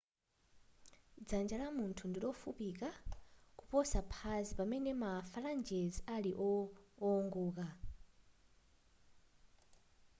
dzanja la munthu ndilofupika kuposa phazi pamene ma phalanges ali owongoka